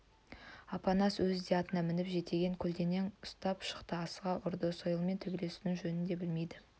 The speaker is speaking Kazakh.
апанас өзі де атына мініп жетегін көлденең ұстап шықты асыға ұрды сойылмен төбелесудің жөнін де білмейді